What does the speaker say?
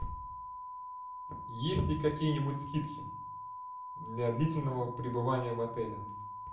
есть ли какие нибудь скидки для длительного пребывания в отеле